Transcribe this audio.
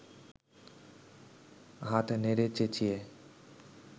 হাত নেড়ে চেঁচিয়ে